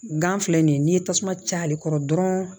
Gan filɛ nin ye n'i ye tasuma caya ale kɔrɔ dɔrɔn